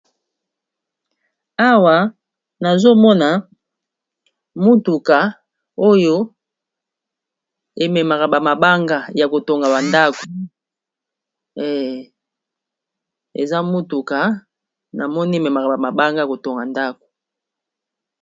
Awa nazomona mutuka oyo ememaka ba mabanga ya kotonga ndako, eza motuka namoni ememaka ba mabanga ya kotonga ndako.